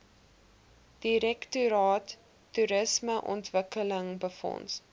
direktoraat toerismeontwikkeling befonds